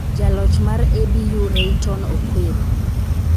Jaloch mar ABU Rayton Okwiri